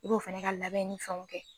I b'o fana ka labɛnni fɛnw kɛ